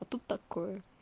а тут такое